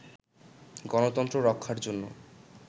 গণতন্ত্র রক্ষার জন্য